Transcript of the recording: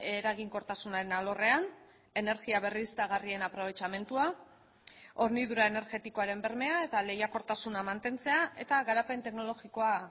eraginkortasunaren alorrean energia berriztagarrien aprobetxamendua hornidura energetikoaren bermea eta lehiakortasuna mantentzea eta garapen teknologikoa